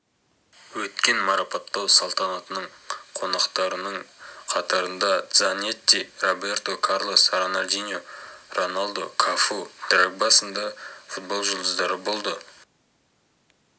өткен марапаттау салтанатының қонақтарының қатарында дзанетти роберто карлос роналдиньо роналдо кафу дрогба сынды футбол жұлдыздары болды